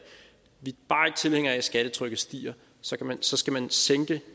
tilhængere af at skattetrykket stiger så skal man sænke